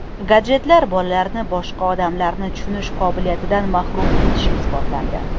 Gadjetlar bolalarni boshqa odamlarni tushunish qobiliyatidan mahrum etishi isbotlandi.